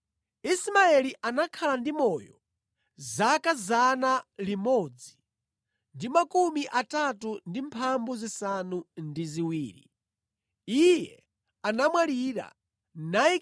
Ismaeli anakhala ndi moyo zaka 137. Iye anamwalira ndipo anakakhala ndi anthu a mtundu wake.